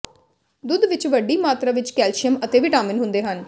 ਦੁੱਧ ਵਿੱਚ ਵੱਡੀ ਮਾਤਰਾ ਵਿੱਚ ਕੈਲਸ਼ੀਅਮ ਅਤੇ ਵਿਟਾਮਿਨ ਹੁੰਦੇ ਹਨ